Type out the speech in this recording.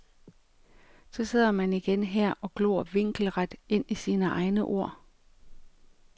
Så sidder man igen her og glor vinkelret ind i sine egne ord.